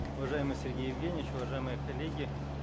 уважаемый сергей евгеньевич уважаемые коллеги